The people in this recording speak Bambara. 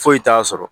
Foyi t'a sɔrɔ